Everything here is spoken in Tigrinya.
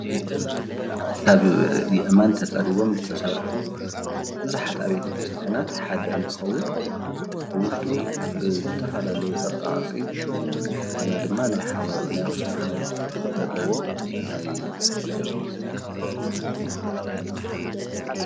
ካብ ኣእማን ተፀሪቦም ዝተሰርሑ ቡዙሓት ኣብያተ ክርስትያናት ሓደ እንትከውን ኣብ ውሽጡ ብዝተፈላለየ ቅርፃቅርፂ እንደገና ድማ ናይ ኣክሱም ሓወልቲ ቅርፂ ዘለዎ ናይ ቤተክርስትያን ብውሽጢ የመላክት፡፡